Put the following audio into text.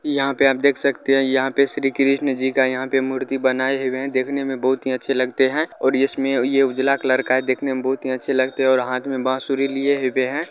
यहा पे आप देख सकते है यहा पे श्री कृष्ण जी का यहा पे मूर्ति बनाए हुए है देखने में बहुत ही अच्छे लगते है और इसमें यह उजला कलर का है देखने में बहुत ही अच्छे लगते है और हाथ में बाँसुरी लिए हुए है।